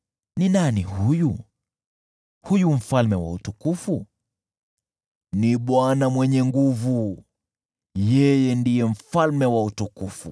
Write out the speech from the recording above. Ni nani yeye, huyu Mfalme wa utukufu? Ni Bwana Mwenye Nguvu Zote; yeye ndiye Mfalme wa utukufu.